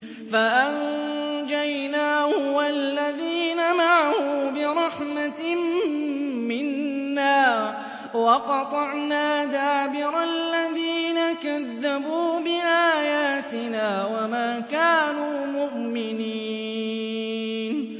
فَأَنجَيْنَاهُ وَالَّذِينَ مَعَهُ بِرَحْمَةٍ مِّنَّا وَقَطَعْنَا دَابِرَ الَّذِينَ كَذَّبُوا بِآيَاتِنَا ۖ وَمَا كَانُوا مُؤْمِنِينَ